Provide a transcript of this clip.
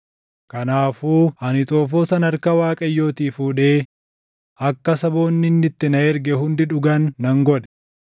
Kanaafuu ani xoofoo sana harka Waaqayyootii fuudhee akka saboonni inni itti na erge hundi dhugan nan godhe: